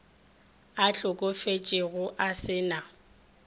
a hlokofetšego a se na